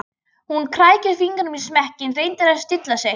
Hún krækir fingrum í smekkinn, reynir að stilla sig.